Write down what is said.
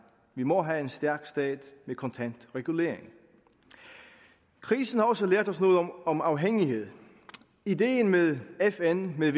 vi må have en stærk stat med kontant regulering krisen har også lært os noget om om afhængighed idéen med fn med